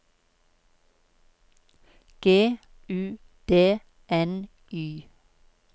G U D N Y